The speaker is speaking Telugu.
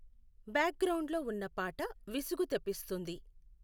బ్యాక్గ్రౌండ్లో ఉన్న పాట విసుగు తెప్పిస్తుంది